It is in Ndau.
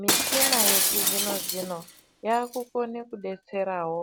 Michina yechizvino zvino yaakukone kudetserao